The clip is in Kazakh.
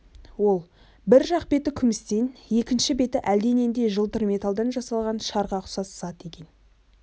ол бір жақ беті күмістен екінші беті әлденендей жылтыр металдан жасалған шарға ұқсас зат екен